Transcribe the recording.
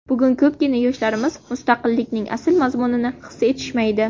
Bugun ko‘pgina yoshlarimiz mustaqillikning asl mazmunini his etishmaydi.